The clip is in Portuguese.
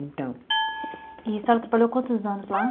Então. E a senhora trabalhou quantos anos lá?